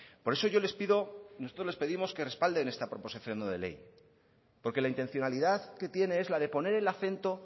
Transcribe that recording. por eso yo les pido nosotros les pedimos que respalden esta proposición no de ley porque la intencionalidad que tiene es la de poner el acento